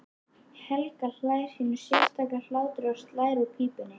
Helgi hlær sínum sérstaka hlátri og slær úr pípunni.